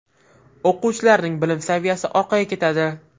O‘quvchilarning bilim saviyasi orqaga ketadi.